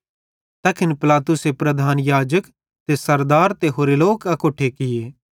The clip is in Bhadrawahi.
तैखन पिलातुसे प्रधान याजक ते सरदार ते होरे लोक अकोट्ठे किये